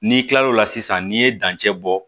N'i kilal'o la sisan n'i ye dancɛ bɔ